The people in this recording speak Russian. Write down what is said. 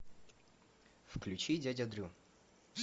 включи дядя дрю